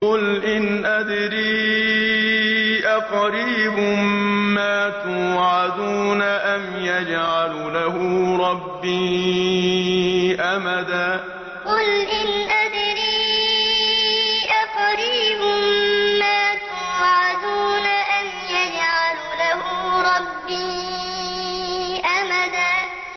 قُلْ إِنْ أَدْرِي أَقَرِيبٌ مَّا تُوعَدُونَ أَمْ يَجْعَلُ لَهُ رَبِّي أَمَدًا قُلْ إِنْ أَدْرِي أَقَرِيبٌ مَّا تُوعَدُونَ أَمْ يَجْعَلُ لَهُ رَبِّي أَمَدًا